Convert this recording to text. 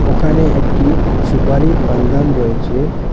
ওখানে একটি সুপারির পানদান রয়েচে।